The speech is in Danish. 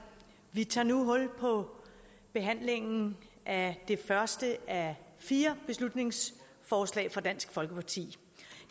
vi tager nu hul på behandlingen af det første af fire beslutningsforslag fra dansk folkeparti